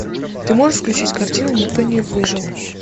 ты можешь включить картину никто не выжил